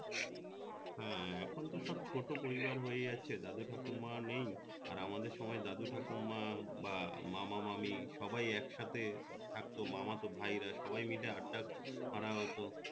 হ্যাঁ এখন তো সব ছোট পরিবার হয়ে যাচ্ছে যাদের ঠাকুমা নেই আর আমাদের সময় দাদু ঠাকুমা বা মামা মামি সবাই একসাথে থাকতো মামাতো ভাই রা সবাই মিলে আড্ডা করা হত